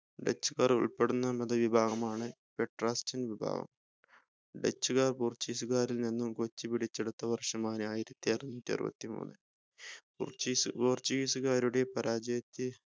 dutch കാർ ഉൾപ്പെടുന്ന മതവിഭാഗം ആണ് Protestant വിഭാഗം dutch കാർ portuguese കാരിൽ നിന്നും കൊച്ചി പിടിച്ചെടുത്ത വർഷമായ ആയിരത്തിഅറന്നൂറ്റിഅറുപത്തിമൂന്ന്